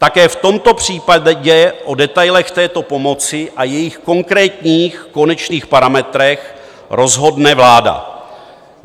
Také v tomto případě o detailech této pomoci a jejích konkrétních konečných parametrech rozhodne vláda.